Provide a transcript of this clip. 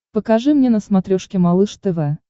покажи мне на смотрешке малыш тв